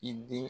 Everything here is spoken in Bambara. I den